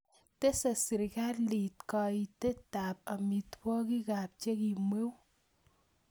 Teese serikalit kayiitetab tab amitewogikab chekimweu